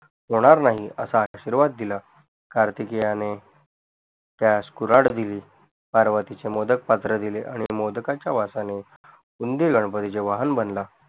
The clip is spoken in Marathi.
होणार नाही असा आशीर्वाद दिला कार्तिकीयाणे त्यास कुराड दिली पार्वतीचे मोदक पात्र दिले आणि मोदकाच्या वासाने उंदीर गणपतीचे वाहन बनला